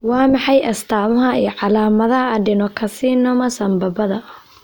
Waa maxay astamaha iyo calaamadaha adenocarcinoma sambabada?